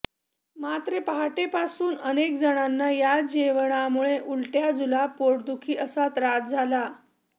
मात्र पहाटेपासून अनेक जणांना या जेवणामुळे उलट्या जुलाब पोटदुखी असा त्रास झाला